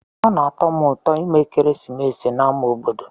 Ọ na-atọ m ụtọ ime ekeresimesi n'ámá obodo.